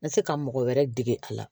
N ka se ka mɔgɔ wɛrɛ dege a la